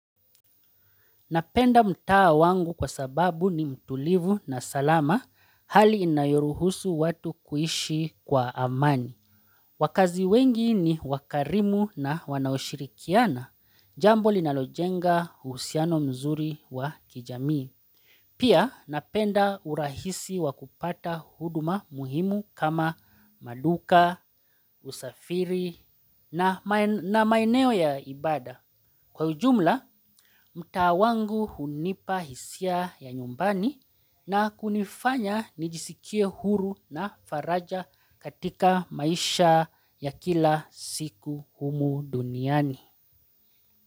Napenda mtaa wangu kwa sababu ni mtulivu na salama hali inayoruhusu watu kuishi kwa amani. Wakazi wengi ni wakarimu na wanaoshirikiana, jambo linalojenga uhusiano mzuri wa kijamii. Pia napenda urahisi wakupata huduma muhimu kama maduka, usafiri na maeneo ya ibada. Kwa ujumla, mtaa wangu hunipa hisia ya nyumbani na kunifanya nijisikie huru na faraja katika maisha ya kila siku humu duniani.